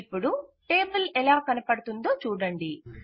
ఇపుడు టేబుల్ ఎలా కనబడుతోందో చూడండి